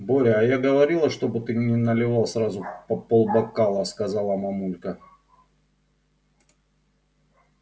боря а я говорила чтобы ты не наливал сразу по пол бокала сказала мамулька